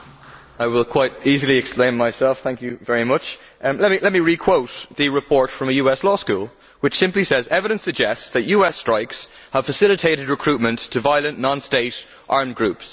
I can quite easily explain myself, thank you very much. Let me re quote the report from a US law school, which simply says, evidence suggests that US strikes have facilitated recruitment to violent, non state armed groups'.